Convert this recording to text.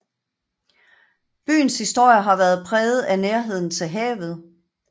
Byens historie har været præget af nærheden til havet